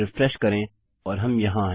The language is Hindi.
रिफ्रेश करें और हम यहाँ हैं